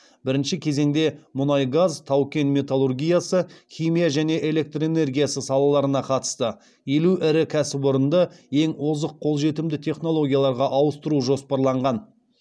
бірінші кезеңде мұнай газ тау кен металлургиясы химия және электр энергиясы салаларына қатысты елу ірі кәсіпорынды ең озық қолжетімді технологияларға ауыстыру жоспарланған